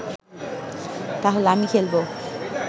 তাহলে আমি খেলবো